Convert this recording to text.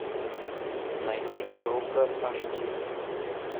найди коробка аш ди